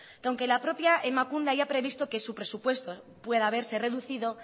que aunque la propia emakunde haya previsto que su presupuesto pueda verse reducido